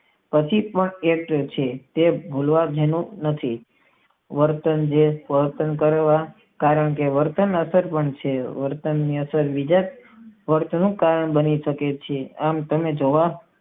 પછી તે મળવા વર્તન કારણ કે વર્તન કાળ બની શકે છે.